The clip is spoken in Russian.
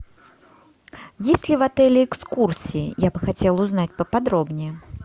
есть ли в отеле экскурсии я бы хотела узнать поподробнее